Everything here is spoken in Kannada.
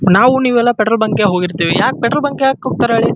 ನಾವು ನೀವೆಲ್ಲ ಪೆಟ್ರೋಲ್ ಬಂಕ್ ಗೆ ಹೋಗಿರ್ತಿವಿ ಪೆಟ್ರೋಲ್ ಬಂಕ್ಗೆ ಯಾಕ ಹೋಗ್ತಾರ ಹೇಳಿ--